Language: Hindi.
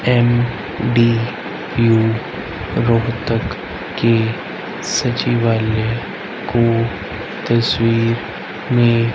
एम_डी_यू रोहतक के सचिवालय को तस्वीर में--